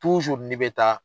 n'i bɛ taa